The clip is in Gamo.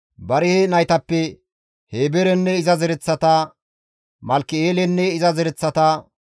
Barihe naytappe Heeberenne iza zereththata, Malkki7eelenne iza zereththata,